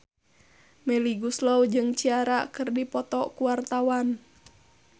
Melly Goeslaw jeung Ciara keur dipoto ku wartawan